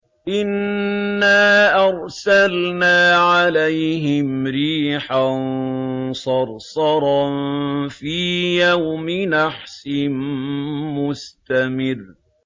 إِنَّا أَرْسَلْنَا عَلَيْهِمْ رِيحًا صَرْصَرًا فِي يَوْمِ نَحْسٍ مُّسْتَمِرٍّ